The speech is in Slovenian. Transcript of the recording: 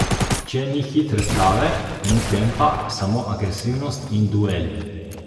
Če ni hitre trave, ni tempa, samo agresivnost in dueli.